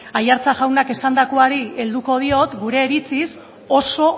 aiartza jaunak esandakoari helduko diot gure iritziz oso